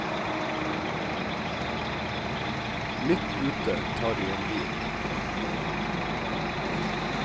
Midt ute tar de en hvil.